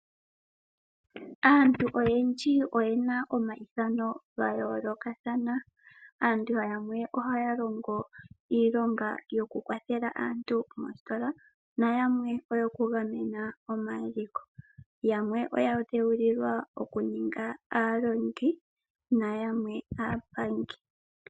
Aantu oyendji oyena omayithano gayoolokathana. Aantu yamwebohaya longo iilonga yoku kwathela aantu moositola nayamwe oyoku gamena omaliko. Yamwe oyadhewulilwa okuninga aalongi nayamwe aapangi.